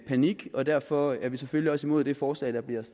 panik og derfor er vi selvfølgelig også imod det forslag der bliver